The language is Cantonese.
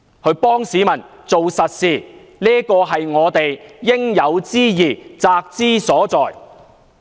為市民做實事，是我們應有之義，責之所在。